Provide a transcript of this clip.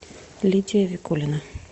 лидия викулина